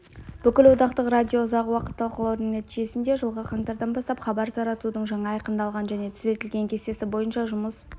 бүкілодақтық радио ұзақ уақыт талқылаудың нәтижесінде жылғы қаңтардан бастап хабар таратудың жаңа айқындалған және түзетілген кестесі бойынша жұмыс